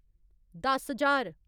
दस ज्हार